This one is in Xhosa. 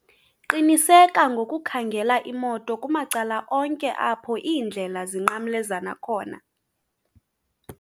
qiniseka ngokukhangela imoto kumacala onke apho iindlela zinqamlezana khona